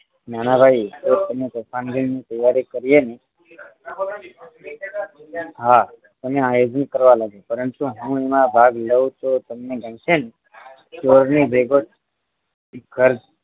નાનાભાઈ તો અમે તોફાન દિનની તૈયારી કરીએ ને હા તમે તૈયારી કરવા લાગો પરંતુ હું એમાં ભાગ લઉં તો તમને ગમશે ને ચોર ની ભેગો